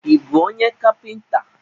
Ị bụ onye kapịnta?